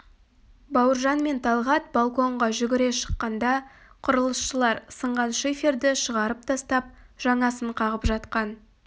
бауыржан мен талғат балконға жүгіре шыққанда құрылысшылар сынған шиферді шығарып тастап жаңасын қағып жатқан